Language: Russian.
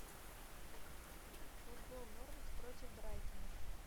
футбол норвич против брайтона